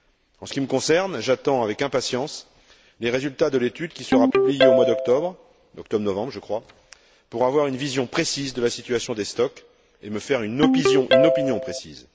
En ce qui me concerne, j'attends avec impatience les résultats de l'étude qui sera publiée au mois d'octobre octobre novembre, je crois pour avoir une vision précise de la situation des stocks et me faire une opinion précise.